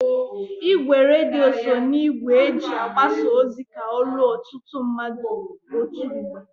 Igwe redio so na igwe eji agbasa ozi ka o ruo ọtụtụ mmadụ otu mgbe.